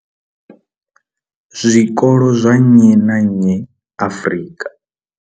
Zwikolo zwa nnyi na nnyi Afrika.